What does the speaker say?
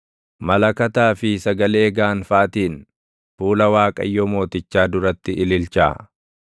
malakataa fi sagalee gaanfaatiin, fuula Waaqayyo mootichaa duratti ililchaa.